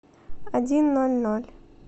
один ноль ноль